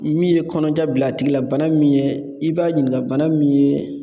Min ye kɔnɔja bil'a tigi la bana min yɛ i b'a ɲininka bana min ye